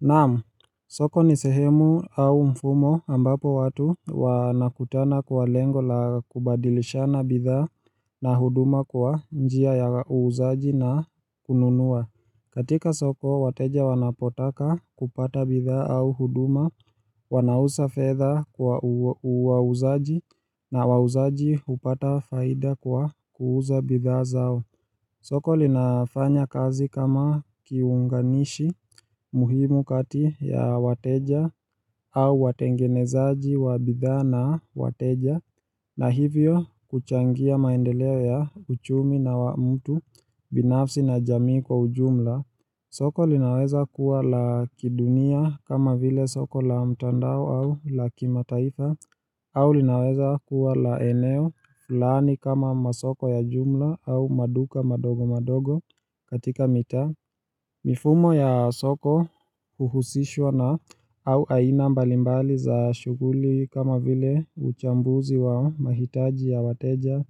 Naam, soko ni sehemu au mfumo ambapo watu wanakutana kwa lengo la kubadilishana bidhaa na huduma kwa njia ya uuzaji na kununua katika soko, wateja wanapotaka kupata bidhaa au huduma, wanausa fedha kwa wauzaji na wauzaji hupata faida kwa kuuza bidhaa zao soko linafanya kazi kama kiunganishi muhimu kati ya wateja au watengenezaji wa bidhaa na wateja na hivyo kuchangia maendeleo ya uchumi na wa mtu binafsi na jamii kwa ujumla soko linaweza kuwa la kidunia kama vile soko la mtandao au la kimataifa au linaweza kuwa la eneo fulani kama masoko ya jumla au maduka madogo madogo katika mitaa mifumo ya soko huhusishwa na au aina mbalimbali za shughuli kama vile uchambuzi wa mahitaji ya wateja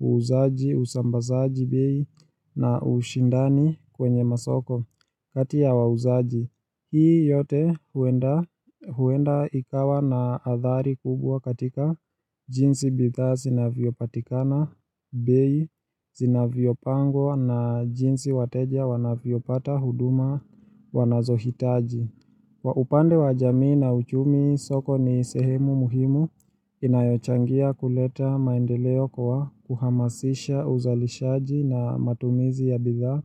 uuzaji, usambazaji bei na ushindani kwenye masoko kati ya wauzaji Hii yote huenda ikawa na athari kubwa katika jinsi bidhaa zinavyopatikana bei zinavyopangwa na jinsi wateja wanavyopata huduma wanazohitaji Kwa upande wa jamii na uchumi soko ni sehemu muhimu inayochangia kuleta maendeleo kwa kuhamasisha uzalishaji na matumizi ya bidhaa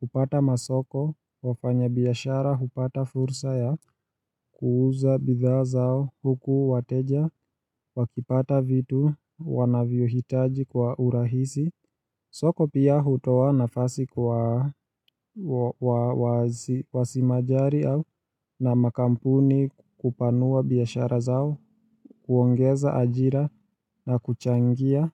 kupata masoko wafanyabiashara hupata fursa ya kuuza bidhaa zao huku wateja wakipata vitu wanavyohitaji kwa urahisi soko pia hutoa nafasi kwa wasimajari au na makampuni kupanua biashara zao, kuongeza ajira na kuchangia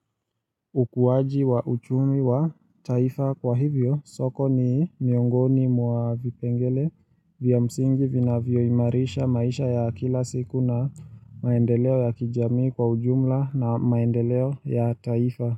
ukuwaji wa uchumi wa taifa kwa hivyo. Soko ni miongoni mwa vipengele vya msingi vinavyoimarisha maisha ya kila siku na maendeleo ya kijamii kwa ujumla na maendeleo ya taifa.